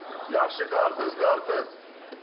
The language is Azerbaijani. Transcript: Yaxşı qarpız, qarpız.